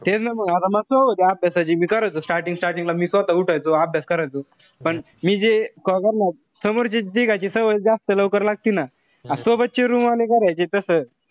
तेच ना म आता होते अभ्यासाची. मी करायचो starting-starting ला मी स्वतः उठायचो, अभ्यास करायचो. पण मी जे समोरचे तिघांची सवय जास्त लवकर लागती ना. सोबतची आणि तस.